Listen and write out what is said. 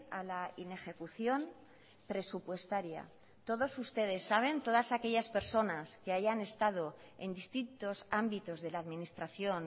a la inejecuciónpresupuestaria todos ustedes saben todas aquellas personas que hayan estado en distintos ámbitos de la administración